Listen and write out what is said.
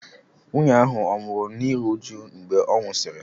Nwunye ahụ ọ̀ nwụrụ n'iru uju mgbe ọ nwụsịrị?